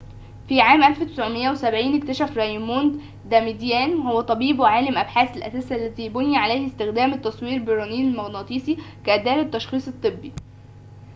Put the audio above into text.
في عام 1970 اكتشف رايموند داماديان وهو طبيب وعالم أبحاث الأساس الذي بُني عليه استخدام التصوير بالرنين المغناطيسي كأداة للتشخيص الطبّي